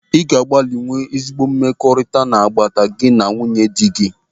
Ị ga agba mbọ nwee ezi mmekọrịta n'agbata gị na nwunye dị gị.